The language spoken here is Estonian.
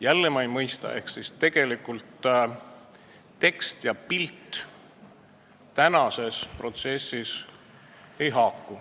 Jälle ma ei mõista: tekst ja pilt ei haaku omavahel.